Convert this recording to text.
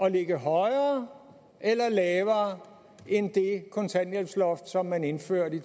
at ligge højere eller lavere end det kontanthjælpsloft som man indførte